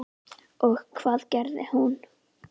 Og hvað gerði hún?